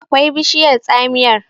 akwai bishiyar tsamiyar